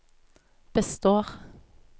består